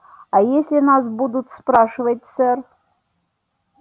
а если нас будут спрашивать сэр